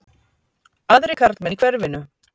Aðrir karlmenn í hverfinu?